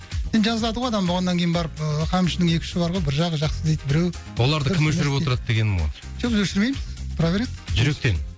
енді жазылады ғой адам болғаннан кейін барып ыыы қамшының екі ұшы бар ғой бір жағы жақсы дейді біреу оларды кім өшіріп отырады дегенім ғой жоқ біз өшірмейміз тұра береді жүректен